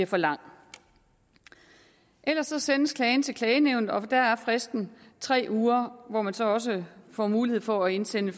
for lang ellers sendes klagen til klagenævnet og der er fristen tre uger hvor man så også får mulighed for at indsende